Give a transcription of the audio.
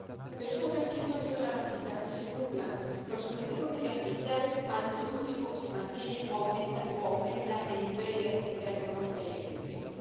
Pero esta transición debe garantizar que se cumplan los objetivos medioambientales al mismo tiempo que se mantiene o aumenta el nivel de actividad económica y el empleo.